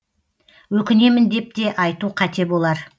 өкінемін деп те айту қате болар